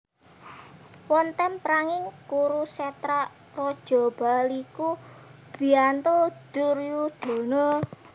Wonten perang ing Kurusetra Raja Bahlika mbiyantu Duryudana